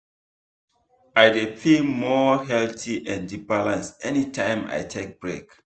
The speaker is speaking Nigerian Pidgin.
i dey feel more healthy and balanced anytime i take break.